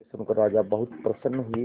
यह सुनकर राजा बहुत प्रसन्न हुए